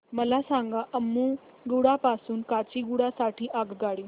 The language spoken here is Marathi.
मला सांगा अम्मुगुडा पासून काचीगुडा साठी आगगाडी